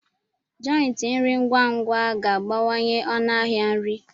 jòintí nri ngwa ngwa ga-abawanye ọnụ ahịa nri